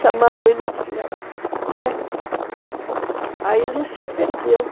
Chamaram ele de filha da... Né, aí ele se ofendeu.